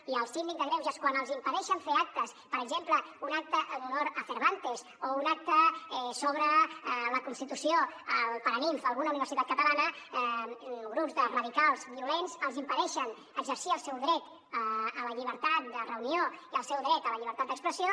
i el síndic de greuges quan els impedeixen fer actes per exemple un acte en honor a cervantes o un acte sobre la constitució al paranimf en alguna universitat catalana grups de radicals violents els impedeixen exercir el seu dret a la llibertat de reunió i el seu dret a la llibertat d’expressió